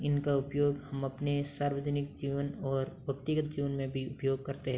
इनका उपयोग हम अपने सार्वजनिक जीवन और व्यक्तिगत रूप में भी उपयोग करते --